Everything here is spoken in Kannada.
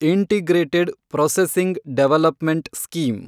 integrated processing development scheme